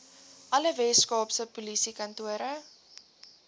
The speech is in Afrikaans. alle weskaapse polisiekantore